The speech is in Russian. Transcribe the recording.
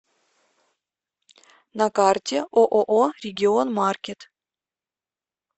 на карте ооо регион маркет